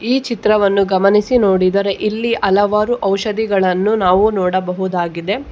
ಈ ಚಿತ್ರವನ್ನು ಗಮನಿಸಿ ನೋಡಿದರೆ ಇಲ್ಲಿ ಹಲವಾರು ಔಷಧಿಗಳನ್ನು ನಾವು ನೋಡಬಹುದಾಗಿದೆ.